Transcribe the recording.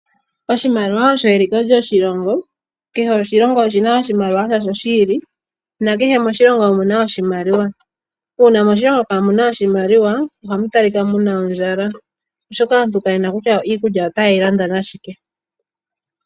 Oshimaliwa osho eliko lyoshilongo. Kehe oshilongo osh ina oshimaliwa shasho shi ili, na kehe moshilongo omuna oshimaliwa. Uuna moshilongo kaamu na oshimaliwa, ohamu talika mu na ondjala. Oshoka aantu Kaye na kutya iikulya otaye yi landa nashike.